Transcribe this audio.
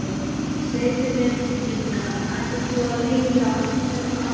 Segðu mér Inga, ætlar þú að leigja hérna áfram?